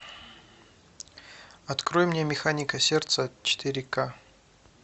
открой мне механика сердца четыре ка